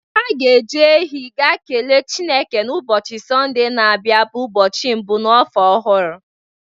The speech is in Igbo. Ha ga-eji ehi ga kele Chineke n'ụbọchị Sọnde na-abịa bụ ụbọchị mbụ n'afọ ọhụrụ.